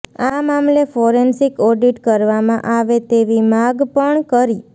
આ મામલે forensic audit કરવામાં આવે તેવી માગ પણ કરી